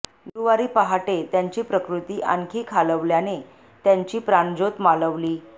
गुरुवारी पहाटे त्यांची प्रकृती आणखी खालावल्याने त्यांची प्राणज्योत मालवली